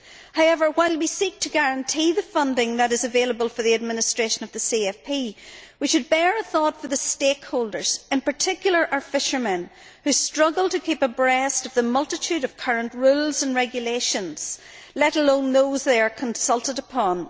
However, while we seek to guarantee the funding that is available for the administration of the CAP, we should bear a thought for the stakeholders in particular our fishermen who struggle to keep abreast of the multitude of current rules and regulations, let alone those they are consulted upon.